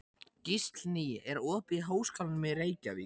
Gíslný, er opið í Háskólanum í Reykjavík?